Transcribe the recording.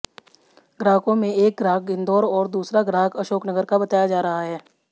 ग्राहकों में एक ग्राहक इंदौर और दूसरा ग्राहक अशोकनगर का बताया जा रहा है